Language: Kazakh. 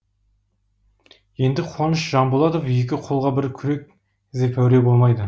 енді қуаныш жанболатов екі қолға бір күрек іздеп әуре болмайды